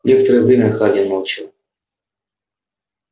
некоторое время хардин молчал